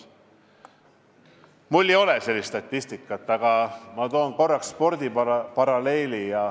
Mul ei ole sellist statistikat, aga ma toon spordiparalleeli.